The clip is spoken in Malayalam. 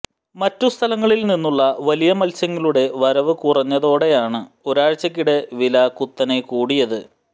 മറ്റു സ്ഥലങ്ങളിൽ നിന്നുള്ള വലിയ മൽസ്യങ്ങളുടെ വരവു കുറഞ്ഞതോടെയാണ് ഒരാഴ്ചയ്ക്കിടെ വില കുത്തനെ കൂടിയത്